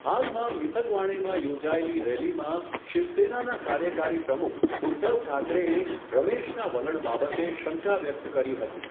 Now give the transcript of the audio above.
હાલમાં મિથગવાણેમાં યોજાયેલી રેલીમાં, શિવસેનાના કાર્યકારી પ્રમુખ, ઉધ્ધવ ઠાકરેએ રમેશના વલણ બાબતે શંકા વ્યક્ત કરી હતી.